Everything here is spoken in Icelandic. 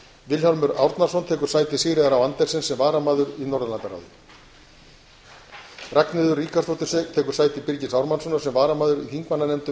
vilhjálmur árnason tekur sæti sigríðar á andersen sem varamaður í norðurlandaráði ragnheiður ríkharðsdóttir ekur sæti birgis ármannssonar sem varamaður í þingmannanefndum